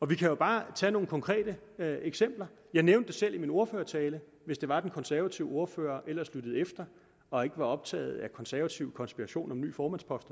vi kan jo bare tage nogle konkrete eksempler jeg nævnte selv i min ordførertale hvis det var den konservative ordfører ellers lyttede efter og ikke var optaget af konservativ konspiration om ny formandspost